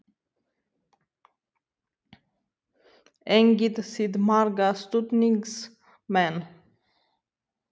Eigið þið marga stuðningsmenn?